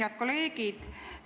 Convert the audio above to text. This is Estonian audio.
Head kolleegid!